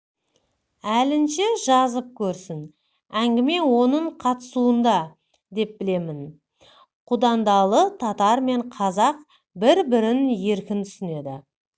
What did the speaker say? әлінше жазып көрсін әңгіме оның қатысуында деп білемін құдандалы татар мен қазақ бір-бірін еркін түсінеді